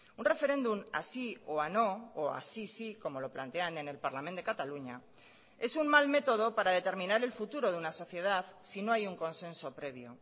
un referéndum a sí o no o así sí como lo plantean en el parlament de cataluña es un mal método para determinar el futuro de una sociedad si no hay un consenso previo